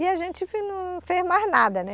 E a gente fez mais nada.